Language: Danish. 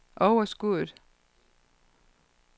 overskuddet